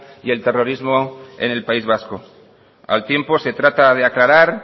y el terrorismo en el país vasco al tiempo se trata de aclarar